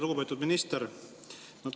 Lugupeetud minister!